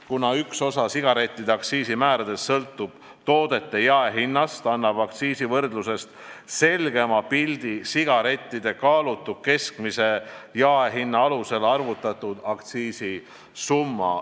Kuna üks osa sigarettide aktsiisimäärast sõltub toodete jaehinnast, annab aktsiisivõrdlusest selgema pildi sigarettide kaalutud keskmise jaehinna alusel arvutatud aktsiisisumma.